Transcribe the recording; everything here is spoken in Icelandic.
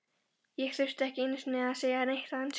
Ég þurfti ekki einu sinni að segja neitt á ensku.